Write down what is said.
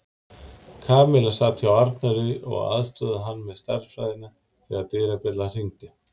Kamilla sat hjá Arnari og aðstoðaði hann með stærðfræðina þegar dyrabjallan hringdi.